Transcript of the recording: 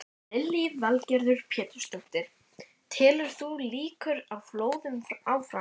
Lillý Valgerður Pétursdóttir: Telur þú líkur á flóðum áfram?